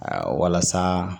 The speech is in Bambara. walasa